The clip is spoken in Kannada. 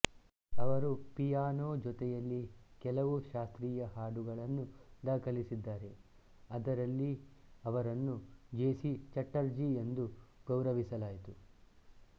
ಅವರು ಪಿಯಾನೋ ಜೊತೆಯಲ್ಲಿ ಕೆಲವು ಶಾಸ್ತ್ರೀಯ ಹಾಡುಗಳನ್ನು ದಾಖಲಿಸಿದ್ದಾರೆ ಅದರಲ್ಲಿ ಅವರನ್ನು ಜಿ ಸಿ ಚಟ್ಟರ್ಜಿ ಎಂದು ಗೌರವಿಸಲಾಯಿತು